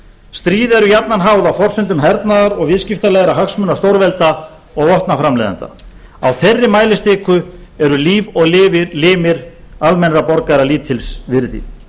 stríð eru jafnan háð á forsendum hernaðar og viðskiptalegra hagsmuna stórvelda og vopnaframleiðenda á þeirri mælistiku eru líf og limir almennra borgara lítils virði